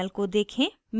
panel को देखें